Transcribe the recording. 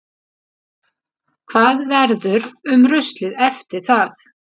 Hvað verður um ruslið eftir það?